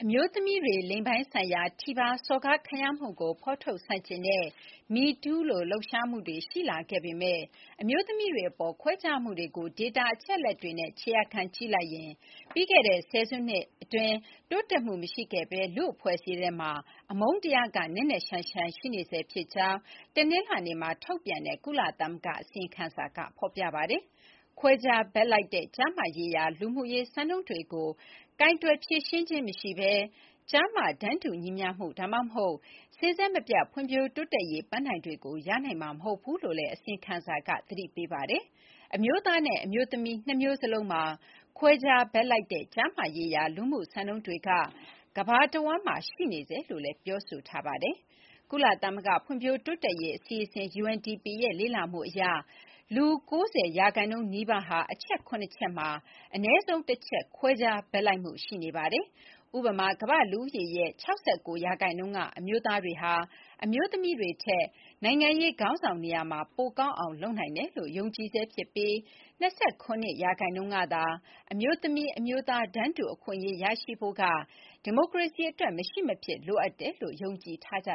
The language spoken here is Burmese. မျိုးသမီးတွေ လိင်ပိုင်းဆိုင်ရာထိပါးစော်ကားခံရမှုကို ဖော်ထုတ်ဆန့်ကျင်တဲ့ MeToo လို လှုပ်ရှားမှုတွေ ရှိလာခဲ့ပေမယ့် အမျိုးသမီးတွေအပေါ် ခွဲခြားမှုတွေကို ဒေတာအချက်အလက်တွေနဲ့ ခြေရာခံကြည့်လိုက်ရင် ပြီးခဲ့တဲ့ဆယ်စုနှစ်အတွင်း တိုးတက်မှုမရှိခဲ့ဘဲ လူ့အဖွဲ့အစည်းထဲမှာ အမုန်းတရားက နက်နက်ရှိုင်းရှိုင်း ရှိနေဆဲဖြစ်ကြောင်း တနင်္လာနေ့မှာ ထုတ်ပြန်တဲ့ ကုလသမဂ္ဂရဲ့ အစီရင်ခံစာမှာ ဖော်ပြထားပါတယ်။ “ခွဲခြားဘက်လိုက်တဲ့ ကျားမရေးရာ လူမှုရေးစံနှုန်းတွေကို ကိုင်တွယ်ဖြေရှင်းခြင်းမရှိဘဲ၊ ကျား၊မ တန်းတူညီမျှမှု ဒါမှမဟုတ် စဉ်ဆက်မပြတ် ဖွံ့ဖြိုးတိုးတက်ရေးပန်းတိုင်တွေကို ရရှိနိုင်မှာ မဟုတ်ဘူးလို့” လည်း အစီရင်ခံစာက သတိပေးလိုက်ပါတယ်။ အမျိုးသားနဲ့ အမျိုးသမီး နှစ်မျိုးစလုံးမှာ “ခွဲခြား ဘက်လိုက်တဲ့ ကျားမရေးရာ လူမှုစံနှုန်းတွေက ကမ္ဘာတဝန်းမှာ ရှိနေဆဲလို့ ဆိုပါတယ်။ ကုလသမဂ္ဂ ဖွံ့ဖြိုးတိုးတက်ရေး အစီအစဉ် (UNDP) ရဲ့ လေ့လာမှု အရ လူ ၉၀% နီးပါးဟာ အချက် ၇ ချက် မှာ အနည်းဆုံး ၁ ချက် ခွဲခြားဘက်လိုက်မှုရှိနေပါတယ်။ ဥပမာ ကမ္ဘာ့လူဦးရေရဲ့ ၆၉% က အမျိုးသားတွေဟာ အမျိုးသမီးတွေထက် နိုင်ငံရေးခေါင်းဆောင် နေရာမှာ ပိုကောင်းအောင်လုပ်နိုင်တယ်လို့ ယုံကြည်ဆဲဖြစ်ပြီး ၂၇% ကသာ အမျိုးသမီး၊ အမျိုးသား တန်းတူအခွင့်အရေးရှိဖို့က ဒီမိုကရေစီအတွက် မရှိမဖြစ်လိုအပ်တယ်လို့ ယုံကြည်ကြ